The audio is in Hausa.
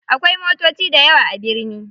Akwai motoci dayawa a birni.